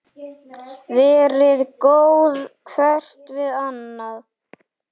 Verið góð hvert við annað